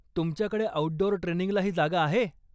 तुमच्याकडे आऊटडोअर ट्रेनिंगलाही जागा आहे?